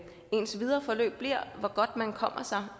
ens videre forløb bliver hvor godt man kommer sig